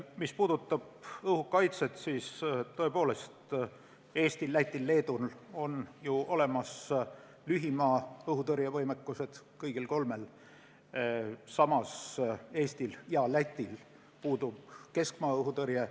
Mis puudutab õhukaitset, siis tõepoolest, nii Eestil, Lätil kui ka Leedul on ju kõigil olemas lühimaa-õhutõrje võimekus, samas Eestil ja Lätil puudub keskmaa-õhutõrje.